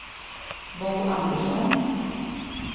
Bo Andersson